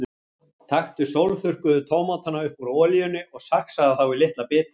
Taktu sólþurrkuðu tómatana upp úr olíunni og saxaðu þá í litla bita.